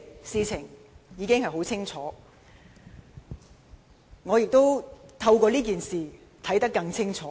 事情已經很清楚，我也透過這件事看得更清楚。